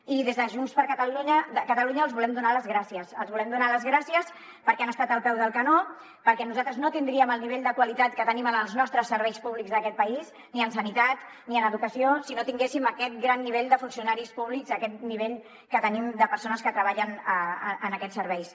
i des de junts per catalunya els volem donar les gràcies els volem donar les gràcies perquè han estat al peu del canó perquè nosaltres no tindríem el nivell de qualitat que tenim en els nostres serveis públics d’aquest país ni en sanitat ni en educació si no tinguéssim aquest gran nivell de funcionaris públics aquest nivell que tenim de persones que treballen en aquests serveis